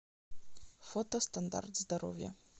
фото стандарт здоровья